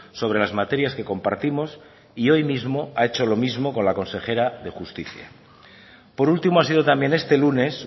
sobre las materias que compartimos y hoy mismo ha hecho lo mismo con la consejera de justicia por último ha sido también este lunes